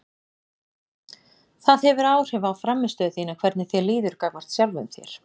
Það hefur áhrif á frammistöðu þína hvernig þér líður gagnvart sjálfum þér.